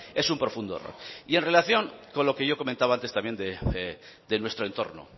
es un profundo error y en relación con lo que yo comentaba antes también de nuestro entorno